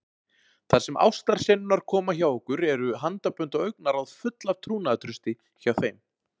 Þar sem ástarsenurnar koma hjá okkur eru handabönd og augnaráð full af trúnaðartrausti hjá þeim.